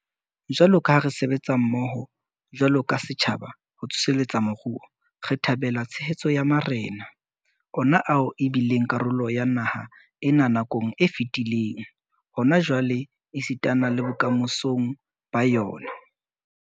Jwalo ka ha re sebetsa mmoho jwalo ka setjhaba ho tsoseletsa moruo, re thabela tshehetso ya marena, ona ao e bileng karolo ya naha ena nakong e fetileng, hona jwale esitana le bokamosong ba yona.